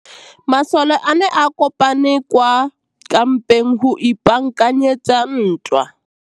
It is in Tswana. Masole a ne a kopane kwa kampeng go ipaakanyetsa ntwa.